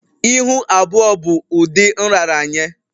Ihu abụọ bụ ụdị nraranye